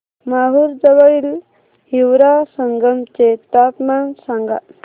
माहूर जवळील हिवरा संगम चे तापमान सांगा